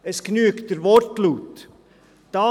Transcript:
Es genügt der Wortlaut.